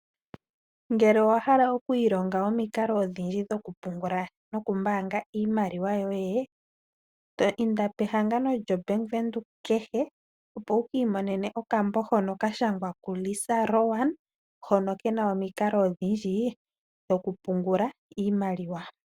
Ngele owahala oku ilonga omikalo odhindji dhokupungula iimaliwa yoye inda pehangano lyombaanga kehe . Opo wu imonene okambo hono kashangwa ku Lisa Rowan hono kena omikalo odhindji dhokupungula iimaliwa.